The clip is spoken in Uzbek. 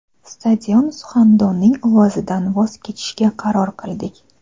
stadion suxandonining ovozidan voz kechishga qaror qildik.